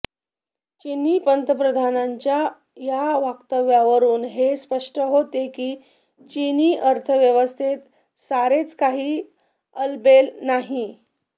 चिनी पंतप्रधानांच्या या वक्तव्यावरून हे स्पष्ट होते की चिनी अर्थव्यवस्थेत सारेच काही आलबेल नाही